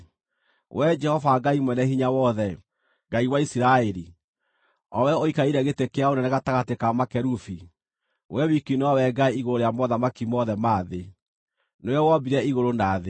“Wee Jehova Ngai Mwene-Hinya-Wothe, Ngai wa Isiraeli, o wee ũikarĩire gĩtĩ kĩa ũnene gatagatĩ ka makerubi, Wee wiki nowe Ngai igũrũ rĩa mothamaki mothe ma thĩ. Nĩwe wombire igũrũ na thĩ.